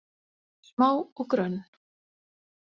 Smá og grönn.